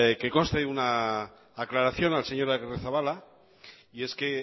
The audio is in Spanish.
que conste una aclaración al señor agirrezabala y es que en